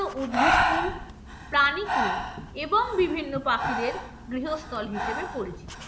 উদ্ভিদকুল প্রাণীকুল এবং বিভিন্ন পাখিদের গৃহস্থল হিসেবে পরিচিত।